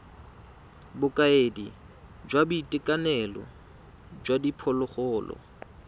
bokaedi jwa boitekanelo jwa diphologolo